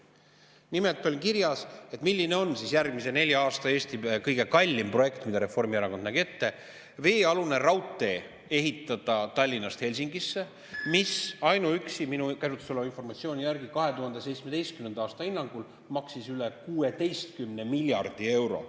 Nimelt oli kirjas järgmise nelja aasta Eesti kõige kallim projekt, mida Reformierakond ette nägi: veealune raudtee Tallinnast Helsingisse, mis ainuüksi minu käsutuses oleva informatsiooni järgi 2017. aastal antud hinnangul maksaks üle 16 miljardi euro.